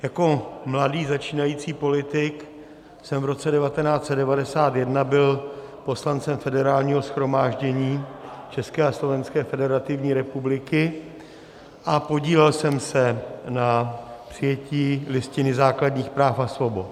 Jako mladý začínající politik jsem v roce 1991 byl poslancem Federálního shromáždění České a Slovenské Federativní Republiky a podílel jsem se na přijetí Listiny základních práv a svobod.